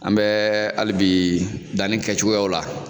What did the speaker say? An bɛ halibi danni kɛcogoyaw la.